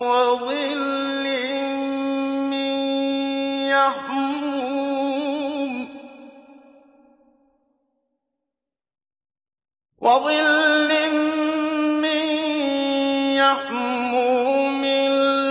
وَظِلٍّ مِّن يَحْمُومٍ